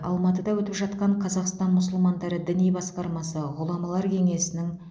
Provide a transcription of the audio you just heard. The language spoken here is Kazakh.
алматыда өтіп жатқан қазақстан мұсылмандары діни басқармасы ғұламалар кеңесінің